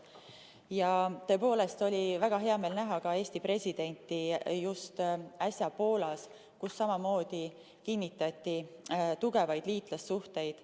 Tõepoolest oli väga hea meel näha ka Eesti presidenti just äsja Poolas, kus samamoodi kinnitati tugevaid liitlassuhteid.